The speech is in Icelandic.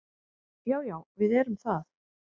Já, já við erum það.